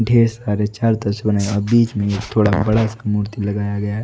ढेर सारे बीच में एक थोड़ा बड़ासा मूर्ति लगाया गया है।